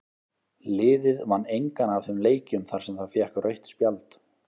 Liðið vann engan af þeim leikjum þar sem það fékk rautt spjald.